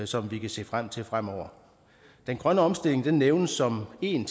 som vi kan se frem til fremover den grønne omstilling nævnes som en